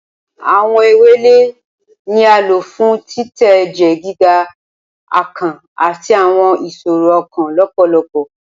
Awọn ewele ni a lo fun titẹ ẹjẹ giga, akàn, ati awọn iṣoro ọkan lọpọlọpọ.